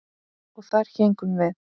Og þar héngum við.